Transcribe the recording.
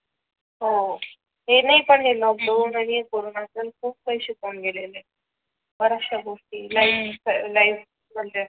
हो हे नाही पण हे लोकडाऊन आणि कोरोना पण खूप काही शिकवून गेली आहे बर्याचश्या गोष्टी लाइफ लाईफ म्हणजे